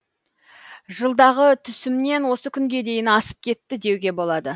жылдағы түсімнен осы күнге дейін асып кетті деуге болады